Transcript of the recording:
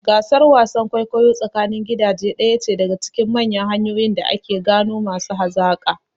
Gasar wasan kwaikwayo tsakanin gidaje ɗaya ce daga cikin manyan hanyoyin da ake gano masu hazaƙa.